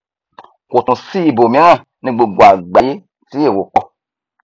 kò tún sí ibòmíràn ní gbogbo àgbáyé tí èro pọ